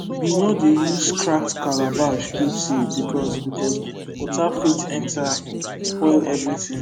we no dey use cracked calabash keep seed because because water fit enter spoil everything